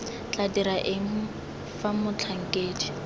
tla dira eng fa motlhankedi